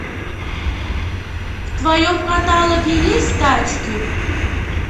в твоем каталоге есть тачки